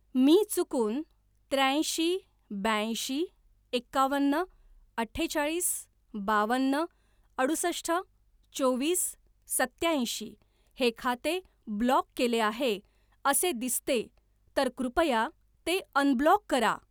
मी चुकून त्र्याऐंशी ब्याऐंशी एकावन्न अठ्ठेचाळीस बावन्न अडुसष्ट चोवीस सत्याऐंशी हे खाते ब्लॉक केले आहे असे दिसते तर कृपया ते अनब्लॉक करा.